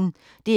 DR P1